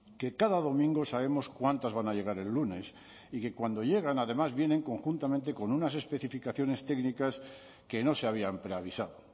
que cada domingo sabemos cuántas van a llegar el lunes y que cuando llegan además vienen conjuntamente con unas especificaciones técnicas que no se habían preavisado